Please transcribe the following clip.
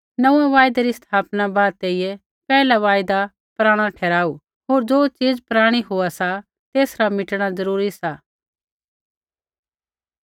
नोंऊँऐं वायदा री स्थापना बाद तेइयै पैहला वायदा पराणा ठहराऊ होर ज़ो च़ीज़ पराणी होआ सा तेसरा मिटणा ज़रूरी सा